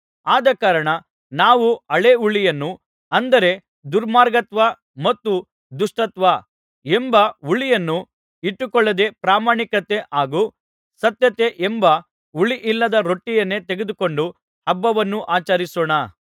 ಆದಕಾರಣ ನಾವು ಹಳೇ ಹುಳಿಯನ್ನು ಅಂದರೆ ದುರ್ಮಾರ್ಗತ್ವ ಮತ್ತು ದುಷ್ಟತ್ವ ಎಂಬ ಹುಳಿಯನ್ನು ಇಟ್ಟುಕೊಳ್ಳದೇ ಪ್ರಾಮಾಣಿಕತೆ ಹಾಗೂ ಸತ್ಯತೆ ಎಂಬ ಹುಳಿಯಿಲ್ಲದ ರೊಟ್ಟಿಯನ್ನೇ ತೆಗೆದುಕೊಂಡು ಹಬ್ಬವನ್ನು ಆಚರಿಸೋಣ